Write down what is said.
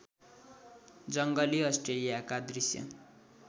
जङ्गली अस्ट्रेलियाका दृश्य